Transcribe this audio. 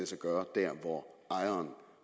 sig gøre der hvor ejeren